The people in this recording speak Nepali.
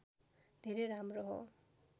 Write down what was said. धेरै राम्रो हो